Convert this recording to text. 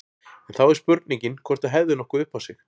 En þá er spurningin hvort það hefði nokkuð upp á sig.